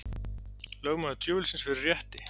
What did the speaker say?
Lögmaður djöfulsins fyrir rétti